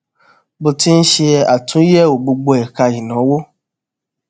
mo ti ṣe àtúnyèwò gbogbo ẹka ìnáwó